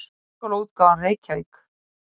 Háskólaútgáfan, Reykjavík.